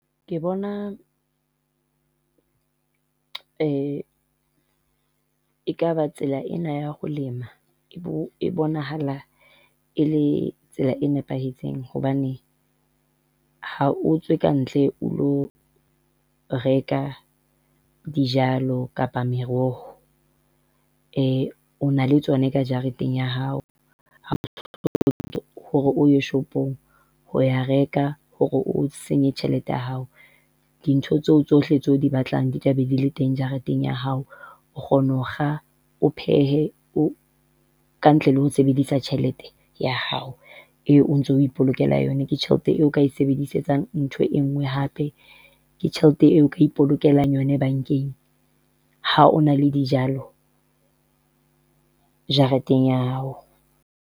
Ke bona ekaba tsela ena ya ho lema e bonahala e le tsela e nepahetseng hobane, ha o tswe kantle o lo reka dijalo kapa meroho. O na le tsona ka jareteng ya hao. Hore o ye shopong ho ya reka hore o senye tjhelete ya hao, dintho tseo tsohle tseo o di batlang di tlabe de le teng jareteng ya hao. O kgona ho kga, o phehe, ka ntle le ho sebedisa tjhelete ya hao, eo o ntso o ipolokela yona ke tjhelete eo o kae sebedisetsang ntho enngwe hape, ke tjhelete eo o ka ipolokelang yona bankeng, ha o na le dijalo jareteng ya hao.